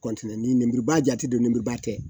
ni lenburuba jate don lenburuba tɛ